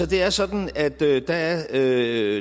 det er sådan at der der